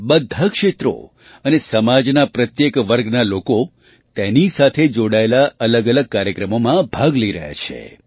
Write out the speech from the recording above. બધાં ક્ષેત્રો અને સમાજના પ્રત્યેક વર્ગના લોકો તેની સાથે જોડાયેલા અલગઅલગ કાર્યક્રમોમાં ભાગ લઈ રહ્યા છે